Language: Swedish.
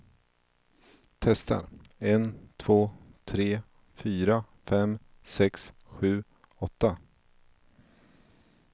Testar en två tre fyra fem sex sju åtta.